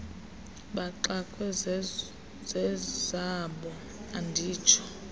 baxakwe zezabo anditsho